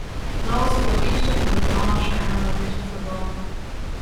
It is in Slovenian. Nova so platišča in dodana še ena različica barve.